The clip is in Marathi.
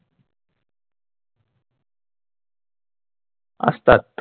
असतात.